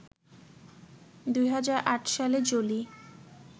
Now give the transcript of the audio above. ২০০৮ সালে জোলি